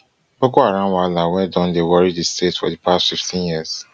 boko haram wahala wey don dey worry di state for di past fifteen years